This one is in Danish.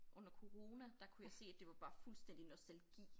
Under corona der kunne jeg se at det var bare fuldstændig nostalgi